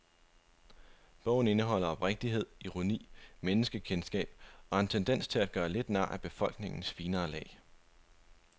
Bogen indeholder oprigtighed, ironi, menneskekendskab og en tendens til at gøre lidt nar af befolkningens finere lag.